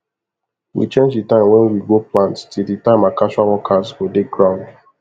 we change the time wen we go plant till the time our casual workers go dey ground